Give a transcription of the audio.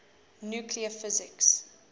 nuclear physics